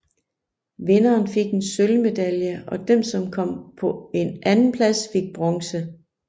Vinderen fik en sølvmedalje og den som kom på en andenplads fik bronze